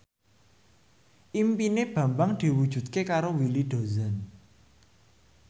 impine Bambang diwujudke karo Willy Dozan